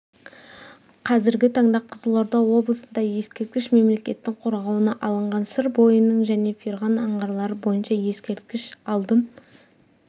қазіргі таңда қызылорда облысында ескерткіш мемлекеттің қорғауына алынған сыр бойының және ферғана аңғарлары бойынша ескерткіш алдын